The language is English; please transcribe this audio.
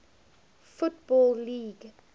football league